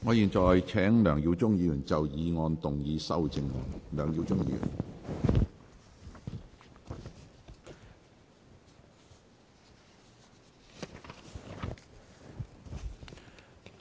我現在請梁耀忠議員就議案動議修正案。